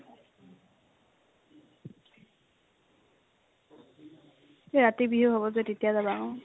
ৰাতিবিহু হব যে তেতিয়া যাবা ।